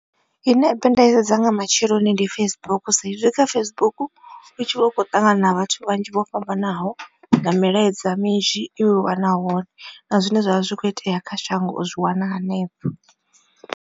Ine app nda i sedza nga matsheloni ndi Facebook sa izwi kha Facebook u tshi vha u khou ṱangana na vhathu vhanzhi vho fhambanaho, na milaedza minzhi u i wana hone na zwine zwavha zwi kho itea kha shango u zwi wana hanefho.